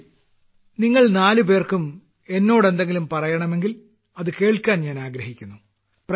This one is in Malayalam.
ശരി നിങ്ങൾ നാലുപേർക്കും എന്നോട് എന്തെങ്കിലും പറയണമെങ്കിൽ അത് കേൾക്കാൻ ഞാൻ ആഗ്രഹിക്കുന്നു